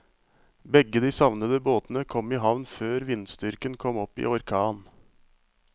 Begge de savnede båtene kom i havn før vindstyrken kom opp i orkan.